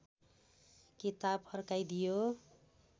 किताब फर्काइदियो